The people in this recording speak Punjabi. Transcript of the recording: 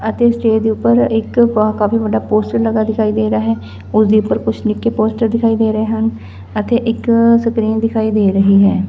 ਅਤੇ ਇਸ ਚੇਅਰ ਦੇ ਊਪਰ ਇੱਕ ਕਾਫੀ ਵੱਡਾ ਪੋਸਟਰ ਲੱਗਾ ਦਿਖਾਈ ਦੇ ਰਿਹਾ ਹੈ ਓਸਦੇ ਉਪਰ ਕੁਛ ਨਿੱਕੇ ਪੋਸਟਰ ਦਿਖਾਈ ਦੇ ਰਹੇ ਹਨ ਅਤੇ ਇੱਕ ਸਕ੍ਰੀਨ ਦਿਖਾਈ ਦੇ ਰਹੀ ਹੈ।